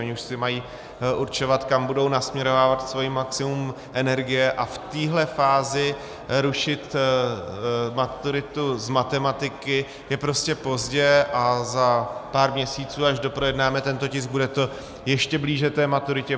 Oni už si mají určovat, kam budou nasměrovávat svoje maximum energie, a v této fázi rušit maturitu z matematiky je prostě pozdě, a za pár měsíců, až doprojednáme tento tisk, bude to ještě blíže té maturitě.